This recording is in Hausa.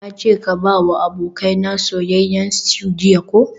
Nace ka bawa abokaina soyayyen stew jiya ko?